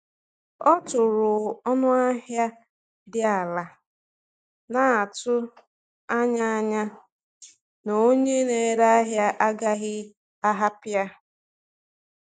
Ọ tụrụ ọnụ ahịa dị ala, na-atụ anya anya na onye na-ere ahịa agaghị ahapụ ya.